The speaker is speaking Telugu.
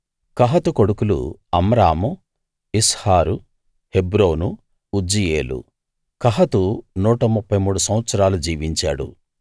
కహాతు కొడుకులు Amram Izhar Hebron Uzziel Kohath 133 సంవత్సరాలు జీవించాడు